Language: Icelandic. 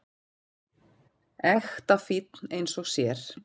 Ekta fínn einn og sér.